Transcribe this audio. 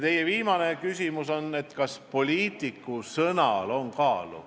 Teie küsimus oli, kas poliitiku sõnal on kaalu.